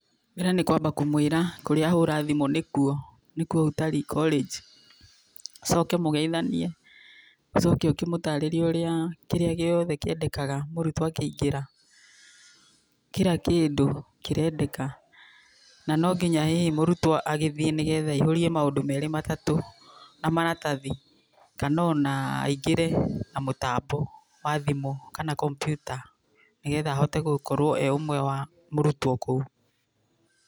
Mbere nĩ kwamba kũmwĩra kũrĩa ahũra thimũ nĩkuo nĩkuo Utalii College, ũcoke mũgeithanie, ũcoke ũkĩmũtarĩrie ũrĩa kĩrĩa gĩothe kĩendekaga mũrutwo akĩingĩra, kira kĩndũ kĩrendeka, na nonginya hihi mũrutwo agĩthiĩ nĩgetha aihũrie maũndũ merĩ matatũ na maratathi, kana ona aingĩre na mũtambo wa thimũ kana kompiuta nĩgetha ahote gũkorwo e ũmwe wa mũrutwo kũu.